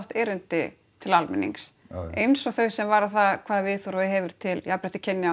erindi til almennings eins og þau sem varða það hvaða viðhorf þú hefur til jafnréttis kynjanna